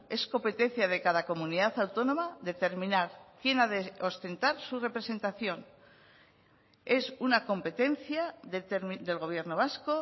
es competencia de cada comunidad autónoma determinar quién ha de ostentar su representación es una competencia del gobierno vasco